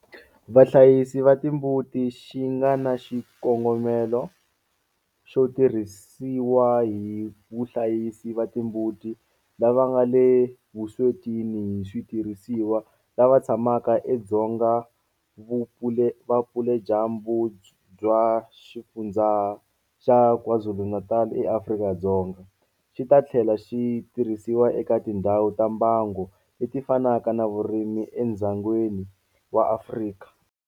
Vahlayisi va timbuti xi nga na xikongomelo xo tirhisiwa hi vuhlayisi va timbuti lava nga le vuswetini hi switirhisiwa lava tshamaka edzonga vupeladyambu bya Xifundzha xa KwaZulu-Natal eAfrika-Dzonga, xi ta tlhela xi tirhisiwa eka tindhawu ta mbango leti fanaka ta vurimi edzongeni wa Afrika.